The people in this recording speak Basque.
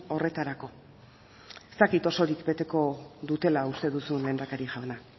horretarako ez dakit osorik beteko dutela uste duzun lehendakari jauna